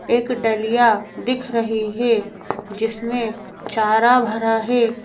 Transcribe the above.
एक डलिया दिख रही है जिसमें चारा भरा है।